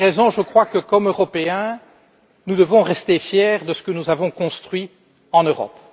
Je crois que, comme Européens, nous devons rester fiers de ce que nous avons construit en Europe.